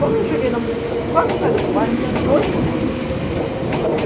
Quando eu cheguei, quase na saída do bairro, tinha dois caminhões de lixo.